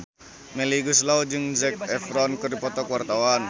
Melly Goeslaw jeung Zac Efron keur dipoto ku wartawan